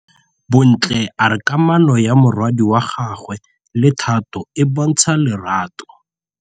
Bontle a re kamanô ya morwadi wa gagwe le Thato e bontsha lerato.